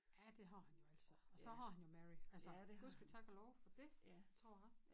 Ja det har han jo altså og så har han jo Mary altså Gud ske tak og lov for dét tror jeg